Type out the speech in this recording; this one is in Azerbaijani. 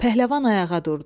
Pəhləvan ayağa durdu.